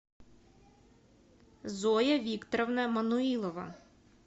зоя викторовна мануилова